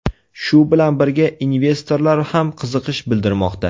Shu bilan birga investorlar ham qiziqish bildirmoqda.